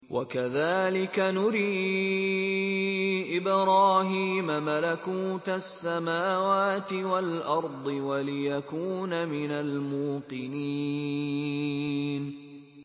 وَكَذَٰلِكَ نُرِي إِبْرَاهِيمَ مَلَكُوتَ السَّمَاوَاتِ وَالْأَرْضِ وَلِيَكُونَ مِنَ الْمُوقِنِينَ